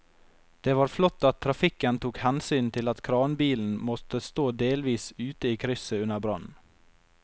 Det var flott at trafikken tok hensyn til at kranbilen måtte stå delvis ute i krysset under brannen.